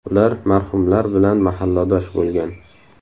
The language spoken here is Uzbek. Ular marhumlar bilan mahalladosh bo‘lgan.